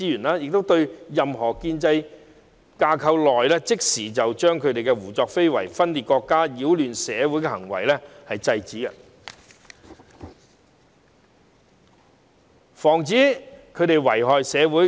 這樣便可在建制架構內，即時制止他們胡作非為、分裂國家及擾亂社會的行為，防止他們遺害社會。